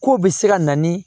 K'o bɛ se ka na ni